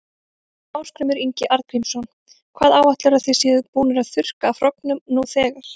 Ásgrímur Ingi Arngrímsson: Hvað áætlarðu að þið séuð búnir að þurrka af hrognum nú þegar?